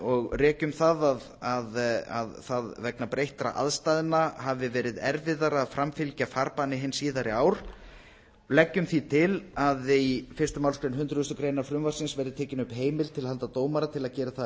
og rekjum að vegna breyttra aðstæðna hafi verið erfiðara að framfylgja farbanni hin síðari ár og leggjum því til að í fyrstu málsgrein hundrað greinar frumvarpsins verði tekin upp heimild til handa dómara til að gera það að